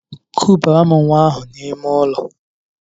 Kubaara m nwa ahụ n'ime ụlọ!